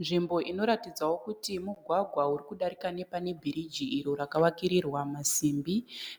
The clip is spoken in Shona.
Nzvimbo inoratidzawo kuti mugwagwa uri kudarika nepane biriji iro rakavakirirwa masimbi